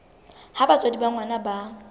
ha batswadi ba ngwana ba